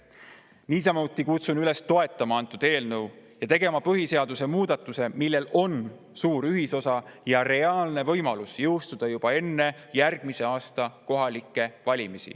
Niisamuti kutsun üles toetama eelnõu ja tegema põhiseaduse muudatuse, millel on suur ühisosa ja reaalne võimalus jõustuda juba enne järgmise aasta kohalikke valimisi.